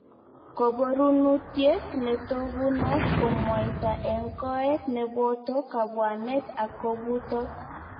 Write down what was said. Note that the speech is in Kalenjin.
Koborunutiet netokunot ko mwaita en koet nepoto kabwanet ak kobutot.